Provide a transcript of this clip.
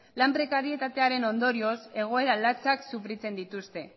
lan prekaritatearen ondorioz egoera latzak sufritzen dituzte